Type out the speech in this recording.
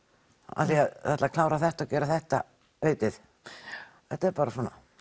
af því að þau ætla að klára þetta og gera þetta þið vitið þetta er bara svona